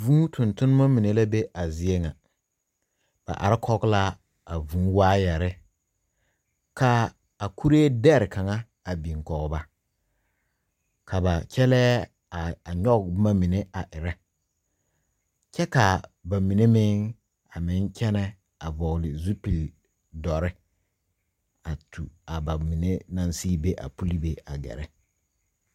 Vūū toŋ toŋma mine la be a zie ŋa, ba are kɔge la a vūū wire kaa a kuri dare kaŋa a biŋ kɔŋ ba ka ba kyɛle are a nyoŋ boma mine a eri kyɛ kaa ba mine meŋ kyɛne toro vɔgle zupele dɔre a tu a ba mine naŋ sige be a puli be a gare.